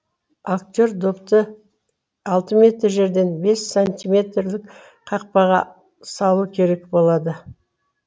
актер допты алты метр жерден бес сантиметрлік қақпаға салу керек болады